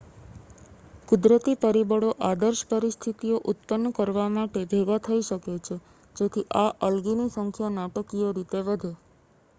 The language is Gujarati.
કુદરતી પરિબળો આદર્શ પરિસ્થિતિઓ ઉત્પન્ન કરવા માટે ભેગા થઈ શકે છે જેથી આ આલ્ગીની સંખ્યા નાટકીય રીતે વધે